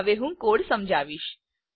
હું હવે કોડ સમજાવીશ